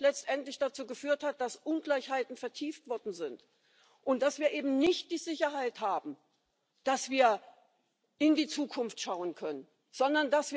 Well, it's a very good advertising slogan, but I tell you what surprised me. Since your last State of the Union speech there's been a seismic political event in Europe, perhaps one even on a par